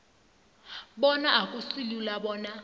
bona akusilula bona